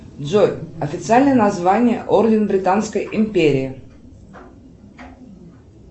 джой официальное название орден британской империи